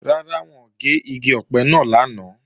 Rárá, wọn ò gé igi ọ̀pẹ náà lánàá